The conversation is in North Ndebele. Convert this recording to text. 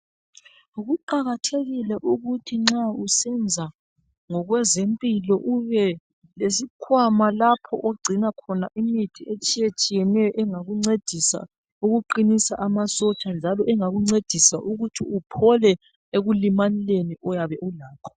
Kuqakathekile ukuthi nxa usenza ngokwezempilo ubelesikhwama lapho ogcina khona imithi etshiye tshiyeneyo engakuncedisa ukuqinisa amasotsha njalo engakuncedisa ukuthi uphole ekulimaleni oyabe ulakho.